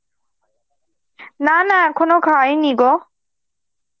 না না এখনো খাইনি গো.